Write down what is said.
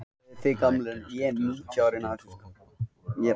Vinningshafi gaf sig fram